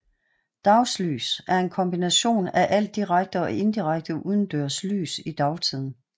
Dagslys er en kombination af al direkte og indirekte udendørs sollys i dagtiden